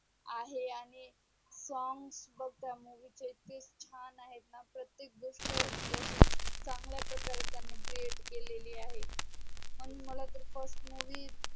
आहे आणि song बग त्या movie चे इतके छान आहेत णा प्रतेक गोष्ट म्हणजे असे चांगल्या प्रकारे त्यांनी create केलेली आहे म्हणून मला तर first movie